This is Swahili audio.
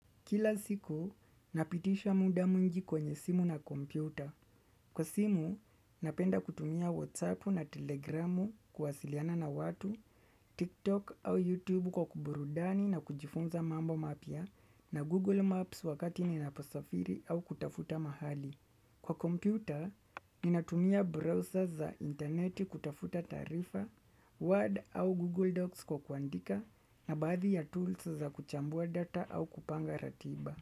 Kila siku, napitisha muda mungi kwenye simu na kompyuta. Kwa simu, napenda kutumia WhatsApp na Telegram kuwasiliana na watu, TikTok au YouTube kwa kuburudani na kujifunza mambo mapya na Google Maps wakati ninaposafiri au kutafuta mahali. Kwa kompyuta, ninatumia browser za interneti kutafuta taarifa, Word au Google Docs kwa kuandika na baadhi ya tools za kuchambua data au kupanga ratiba.